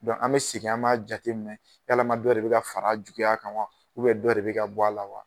Dɔn an bɛ sigin an b'a jateminɛ yalama dɔ de be ka far'a juguya kan wa dɔ de bɛ ka bɔ a la wa